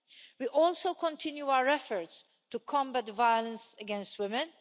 We also continue our efforts to combat violence against women.